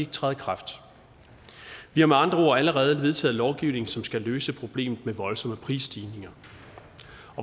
træde i kraft vi har med andre ord allerede vedtaget lovgivning som skal løse problemet med voldsomme prisstigninger